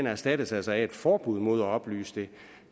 erstattes af et forbud mod at oplyse det